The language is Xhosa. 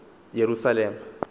yerusalem